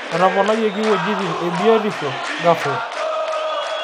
Etoponayioki wuejitin e biotisho a ghafla